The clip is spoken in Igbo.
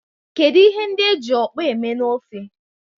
Kedu ihe ndi eji okpor eme na ofe?